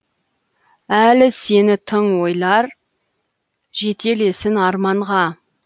әлі сені тың ойлар жетелесін арманға